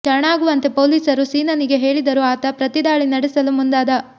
ಶರಣಾಗುವಂತೆ ಪೊಲೀಸರು ಸೀನನಿಗೆ ಹೇಳಿದರೂ ಆತ ಪ್ರತಿ ದಾಳಿ ನಡೆಸಲು ಮುಂದಾದ